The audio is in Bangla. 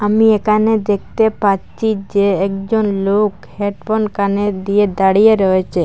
আমি একানে দেখতে পাচ্চি যে একজন লোক হেডফোন কানে দিয়ে দাঁড়িয়ে রয়েচে।